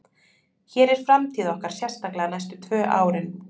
Hér er framtíð okkar, sérstaklega næstu tvö árin.